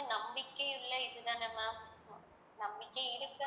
நம்பிக்கை உள்ள இதுதான ma'am நம்பிக்கை இருக்கு